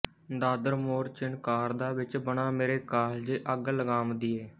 ਦਾਦਰ ਮੋਰ ਚਿਨਕਾਰਦਾ ਵਿੱਚ ਬਨਾਂ ਮੇਰੇ ਕਾਲਜੇ ਅੱਗ ਲਗਾਂਵਦੀਏ